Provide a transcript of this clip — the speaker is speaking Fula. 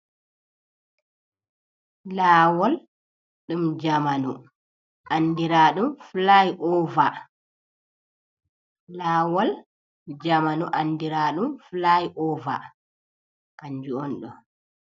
Lawol ɗum jamanu andiraɗum flai ova. Lawol ɗum jamanu andira ɗum flai ova kanjum on ɗo.